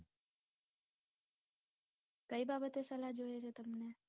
કય બાબતે સલાહ જોયે છે તમને.